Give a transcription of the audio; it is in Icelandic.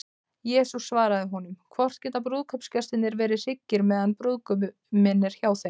Jesús svaraði þeim: Hvort geta brúðkaupsgestir verið hryggir, meðan brúðguminn er hjá þeim?